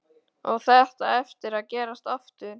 Á þetta eftir að gerast aftur?